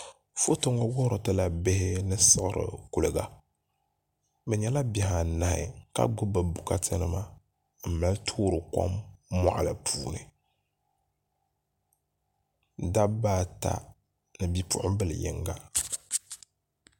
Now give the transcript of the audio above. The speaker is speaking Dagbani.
Foto ŋo wuhuri tila bihi ni siɣiri kuliga bi nyɛla bihi anahi ka gbubi bi bokati nima n mali toori kom moɣali ni dabba ata ni bipuɣunbili yinga